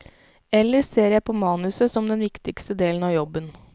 Ellers ser jeg på manuset som den viktigste delen av jobben.